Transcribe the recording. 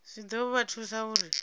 zwi ḓo vha thusa uri